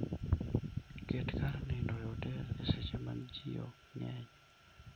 Ket kar nindo e otel e seche ma ji ok ng'eny.